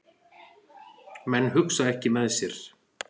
Menn hugsa ekki með sér